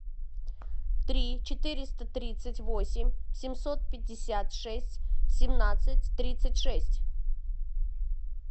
три четыреста тридцать восемь семьсот пятьдесят шесть семнадцать тридцать шесть